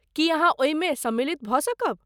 की अहाँ ओहिमे सम्मिलित भऽ सकब?